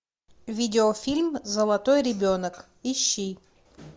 видеофильм золотой ребенок ищи